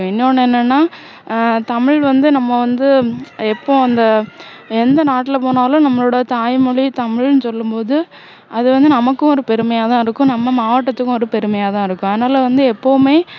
இன்னொண்ணு என்னன்னா ஆஹ் தமிழ் வந்து நம்ம வந்து இப்போ அந்த எந்த நாட்டுல போனாலும் நம்மளோட தாய்மொழி தமிழ்னு சொல்லும் போது அது வந்து நமக்கும் ஒரு பெருமையாதான் இருக்கும் நம்ம மாவட்டத்துக்கும் ஒரு பெருமையாதான் இருக்கும் அதனால வந்து எப்போவுமே